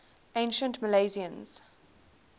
ancient milesians